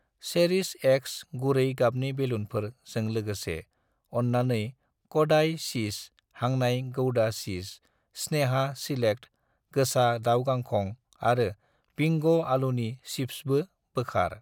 चेरिश एक्स गुरै गाबनि बेलुनफोर जों लोगोसे , अन्नानै कदाइ चीस हांनाय गौदा चिज , स्नेहा सिलेक्ट गोसा दाउ गांखं आरो बिंग आलुनि चिप्सबो बोखार।